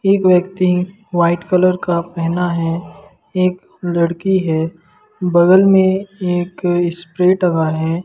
एक व्यक्ति white colour का पहना है एक लड़की है बगल में एक स्प्रे टंगा है।